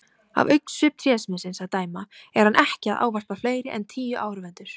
Af augnsvip trésmiðsins að dæma er hann ekki að ávarpa fleiri en tíu áhorfendur.